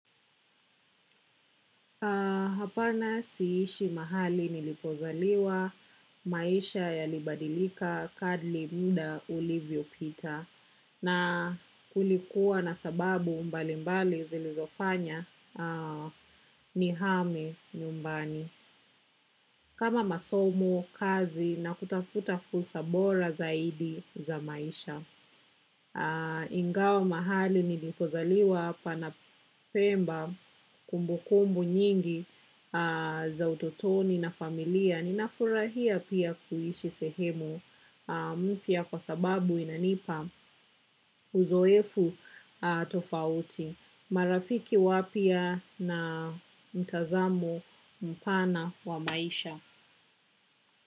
Hapana siishi mahali nilipozaliwa maisha yalibadilika kadli muda ulivyopita na kulikuwa na sababu mbalimbali zilizofanya nihame nyumbani kama masomo kazi na kutafuta fursa bora zaidi za maisha ingawa mahali nilipozaliwa pana Pemba kumbukumbu nyingi za utotoni na familia ninafurahia pia kuishi sehemu mpya kwa sababu inanipa uzoefu tofauti. Marafiki wapya na mtazamo mpana wa maisha.